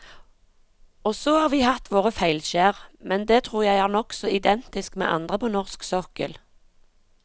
Og så har vi hatt våre feilskjær, men det tror jeg er nokså identisk med andre på norsk sokkel.